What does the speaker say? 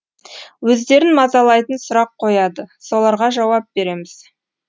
өздерін мазалайтын сұрақ қояды соларға жауап береміз